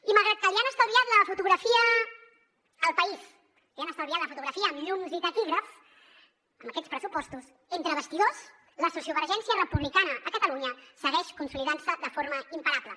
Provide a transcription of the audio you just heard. i malgrat que li han estalviat la fotografia al país li han estalviat la fotografia amb llums i taquígrafs amb aquests pressupostos entre bastidors la sociovergència republicana a catalunya segueix consolidant se de forma imparable